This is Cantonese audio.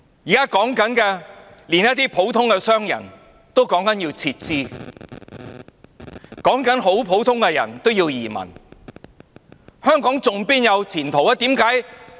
現在是連一些普通商人也說要撤資，很普通的人也要移民，香港還有前途嗎？